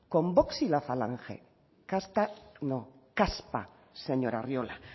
con vox y la falange casta no caspa señor arriola